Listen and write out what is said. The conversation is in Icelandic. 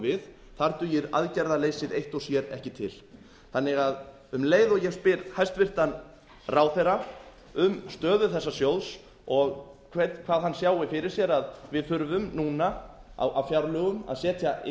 við þar dugir aðgerðarleysið eitt og sér ekki til þannig að um leið og ég spyr hæstvirtur ráðherra um stöðu þessa sjóðs og hvað hann sjái fyrir sér að við þurfum núna á fjárlögum að setja inn